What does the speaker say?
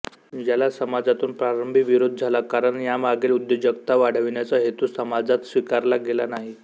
याला समाजातून प्रारंभी विरोध झाला कारण यामागील उद्योजकता वाढविण्याचा हेतू समाजात स्वीकारला गेला नाही